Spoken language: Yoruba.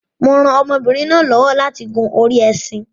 Mo rán ọmọbinrin náà lọ́wọ́ láti gùn orí ẹṣin